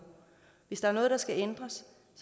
hvis der er noget der skal ændres